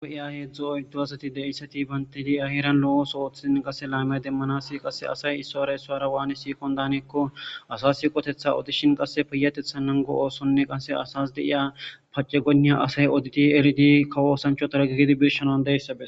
Gu7iya heedzdzu oyddu asati deissati bantidi ahiran lo'oso oothiin qasse laamiya demanasi qass asay issora esoara waani siikon daaneekko asas siqotetha odishin qasse piyatethannango oossonne qasse asas deiya pace gonniya asay oditi eridi kawosancho taragigidi birshanan deyssabea